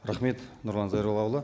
рахмет нұрлан зайроллаұлы